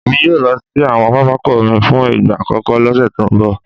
Èmi yóò lọ sí àwọn pápákọ̀ omi fún ìgbà àkọ́kọ́ lọ́sẹ̀ tó ń bọ̀